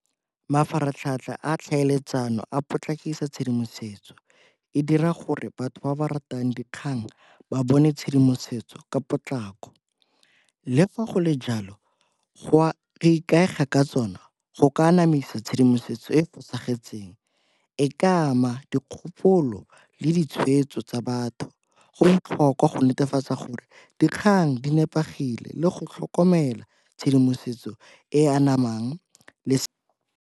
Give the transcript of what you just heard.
Mafaratlhatlha a tlhaeletsano a potlakisa tshedimosetso, e dira gore batho ba ba ratang dikgang ba bone tshedimosetso ka potlako. Le fa go le jalo go ikaega ka tsona go ka anamisa tshedimosetso e e fosagetseng. E ka ama dikgopolo le ditshweetso tsa batho. Go botlhokwa go netefatsa gore dikgang di tshepegile le go tlhokomela tshedimosetso e anamang le.